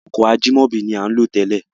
Ọkọ̀ Ajímọ̀bí ni à ń lò télè.